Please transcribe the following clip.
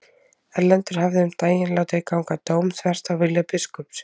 Erlendur hafði um daginn látið ganga dóm þvert á vilja biskups.